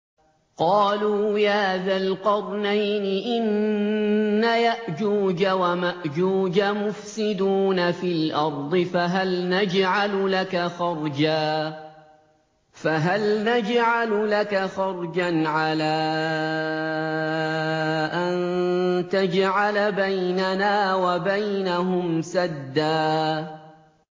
قَالُوا يَا ذَا الْقَرْنَيْنِ إِنَّ يَأْجُوجَ وَمَأْجُوجَ مُفْسِدُونَ فِي الْأَرْضِ فَهَلْ نَجْعَلُ لَكَ خَرْجًا عَلَىٰ أَن تَجْعَلَ بَيْنَنَا وَبَيْنَهُمْ سَدًّا